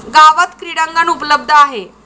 गावात क्रीडांगण उपलब्ध आहे.